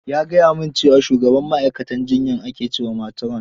Ya gaya min cewa shugabar ma'aikatan jiyyar ake cewa matron.